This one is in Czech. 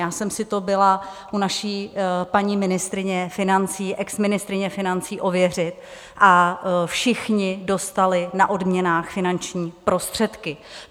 Já jsem si to byla u naší paní ministryně financí, exministryně financí, ověřit a všichni dostali na odměnách finanční prostředky.